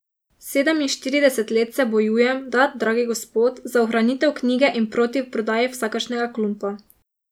Sedeminštirideset let se bojujem, da, dragi gospod, za ohranitev knjige in proti prodaji vsakršnega klumpa.